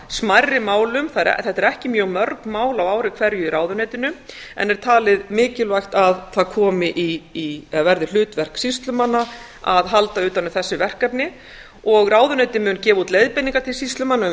smærri málum þetta eru ekki mjög mörg mál á ári hverju í ráðuneytinu en er talið mikilvægt að það verði hlutverk sýslumanna að halda utan um þessi verkefni og ráðuneytið mun gefa út leiðbeiningar til sýslumanna um